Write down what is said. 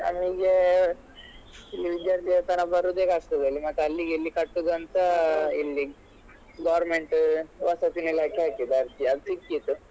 ನಮಿಗೆ ಈ ವಿದ್ಯಾರ್ಥಿವೇತನ ಬರುದೆ ಕಷ್ಟದಲ್ಲಿ ಮತ್ತೆ ಅಲ್ಲಿಗೆಲ್ಲಿಗೆ ಕಟ್ಟುದಂತ ಇಲ್ಲಿ government ವಸತಿ ನಿಲಯಕ್ಕೆ ಹಾಕಿದ್ದು ಅರ್ಜಿ ಅದು ಸಿಕ್ಕಿತು.